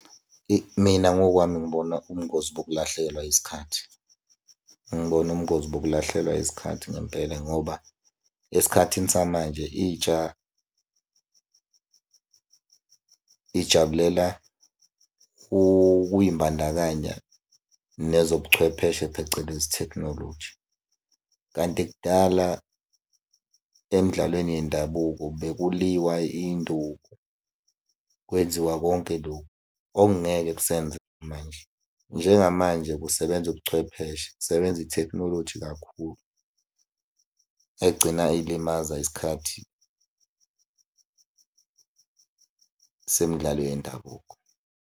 Eyi, mina ngokwami ngibona ubungozi bokulahlekelwa isikhathi. Ngibona ubungozi bokulahlekelwa isikhathi ngempela ngoba esikhathini samanje intsha ijabulela ukuy'mbandakanya nezobuchwepheshe phecelezi tekhnoloji. Kanti kudala emdlalweni yendabuko bekuliwa iy'nduku. Kwenziwa konke lokhu okungeke kusenzeka manje. Njengamanje kusebenza ubuchwepheshe, kusebenza ithekhnoloji kakhulu egcina ilimaza isikhathi semidlalo yendabuko.